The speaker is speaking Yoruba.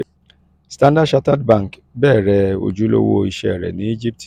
standard chartered bank bẹrẹ ojulowo iṣẹ rẹ ni egipti